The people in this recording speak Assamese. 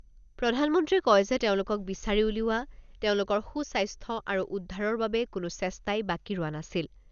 প্ৰধানমন্ত্ৰীয়ে কয় যে তেওঁলোকক বিচাৰি উলিওৱা, তেওঁলোকৰ সু স্বাস্থ্য আৰু উদ্ধাৰৰ বাবে কোনো চেষ্টাই বাকী ৰোৱা নাছিল।